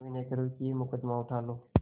विनय करुँ कि यह मुकदमा उठा लो